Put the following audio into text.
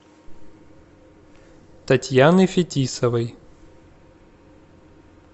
татьяны фетисовой